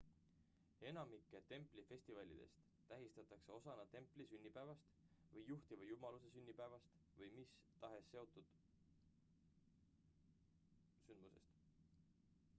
enamikke templi festivalidest tähistatakse osana templi sünnipäevast või juhtiva jumaluse sünnipäevast või mis tahes muust templiga seotud sündmusest